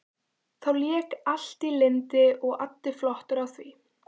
Þá lék allt í lyndi og addi flottur á því.